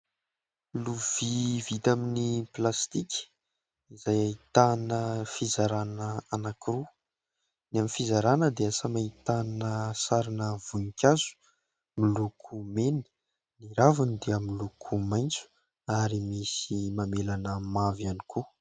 Lovia vita amin'ny plastika izay ahitana fizarana anankiroa. Ny amin'ny fizarana dia samy ahitana sarina voninkazo miloko mena, ny ravony dia miloko maintso ary misy mamelana mavo ihany koa.